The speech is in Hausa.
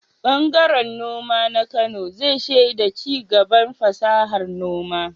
Ɓangaren noma na Kano zai shaida ci gaban fasahar noma.